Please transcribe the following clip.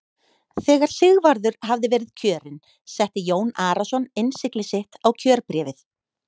Þegar Sigvarður hafði verið kjörinn setti Jón Arason innsigli sitt á kjörbréfið.